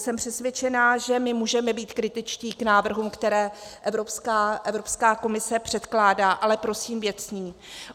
Jsem přesvědčená, že my můžeme být kritičtí k návrhům, které Evropská komise předkládá, ale prosím věcně.